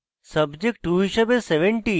subject 2 হিসাবে 70